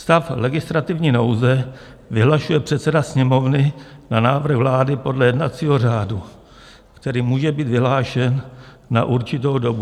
Stav legislativní nouze vyhlašuje předseda Sněmovny na návrh vlády podle jednacího řádu, který může být vyhlášen na určitou dobu.